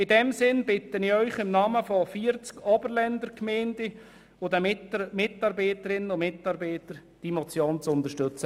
In diesem Sinn bitte ich Sie im Namen von 40 Oberländer Gemeinden und den Mitarbeiterinnen und Mitarbeitern, diese Motion zu unterstützen.